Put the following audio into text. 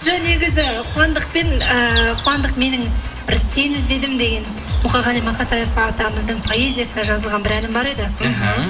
жоқ негізі қуандықпен ыыы қуандық менің бір сені іздедім деген мұқағали мақатаев атамыздың поэзиясына жазылған бір әнім бар еді іхі